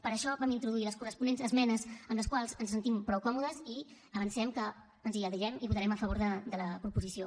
per això vam introduir les corresponents esmenes amb les quals ens sentim prou còmodes i avancem que ens adherirem i votarem a favor de la proposició